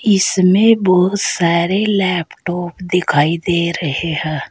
इसमें बोहोत सारे लैपटॉप दिखाई दे रहे हैं।